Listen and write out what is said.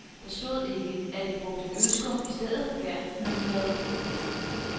Der stod ikke, at de brugte ølskum i stedet for gær, når de lavede brød.